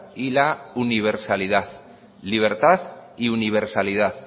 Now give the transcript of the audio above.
y la universalidad libertad y universalidad